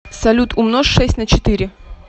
салют умножь шесть на четыре